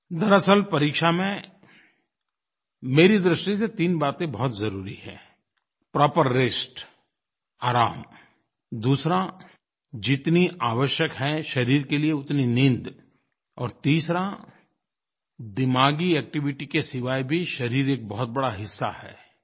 दरअसल परीक्षा में मेरी दृष्टि से तीन बातें बहुत ज़रुरी हैं प्रॉपर रेस्ट आराम दूसरा जितनी आवश्यक है शरीर के लिये उतनी नींद और तीसरा दिमागी एक्टिविटी के सिवाय भी शरीर एक बहुत बड़ा हिस्सा है